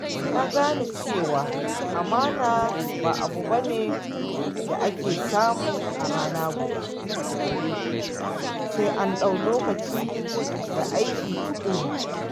Na gane cewa amana ba abu ba ne da ake samu a rana guda ba, sai an ɗau lokaci da aiki tuƙuru.